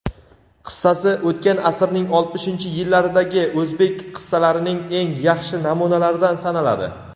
qissasi o‘tgan asrning oltmishinchi yillaridagi o‘zbek qissalarining eng yaxshi namunalaridan sanaladi.